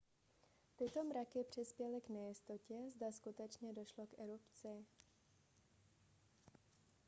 tyto mraky přispěly k nejistotě zda skutečně došlo k erupci